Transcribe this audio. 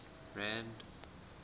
rand